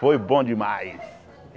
Foi bom demais!